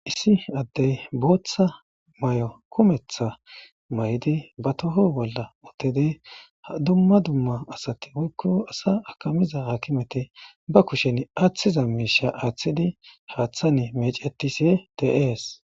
Issi adey bitha kumetha mayoo mayiddi batoho bola uttidi a dumma dumma wokko asa akamidda akimetti bakushen athizza misha athiddi haathan meccetishe de77ees.